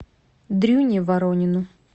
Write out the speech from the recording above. дрюне воронину